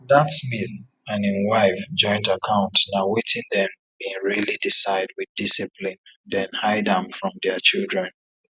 dat smith and him wife joint account na wetin dem been really decide with discipline then hide am from dia children